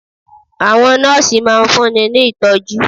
Àwọn Nọ́ọ̀sì máa fun ní Ìtọ́jú.